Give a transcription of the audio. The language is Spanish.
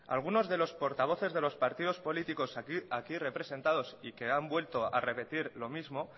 algunos de los portavoces de los partidos políticos aquí representados y que han vuelto a repetir lo mismo